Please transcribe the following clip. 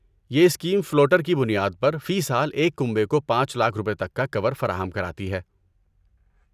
یہ scheme floater کی بنیاد پر فی سال ایک کنبے کو پانچ لاکھ روپے تک کا کور فراہم کراتی ہے